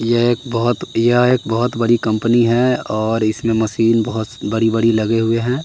यह एक बहुत यह एक बहुत बड़ी कंपनी है और इसमें मशीन बहुत बड़ी बड़ी लगे हुए हैं।